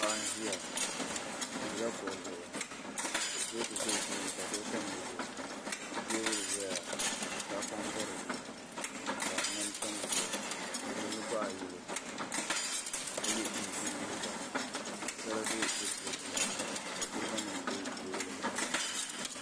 Paɣa n ʒiya o ʒila kuɣu zuɣu ka kurifooti tam o tooni ka duɣu tam di zuɣu ka teebuli ʒɛya ka tahapoŋ tam dizuɣu ka ŋmani tam dizuɣu o ʒimi baɣa yili ka yɛ chinchin liiga ka sala bɛ kurifooti maa puuni ka kuriga nim bɛ teebuli maa loŋni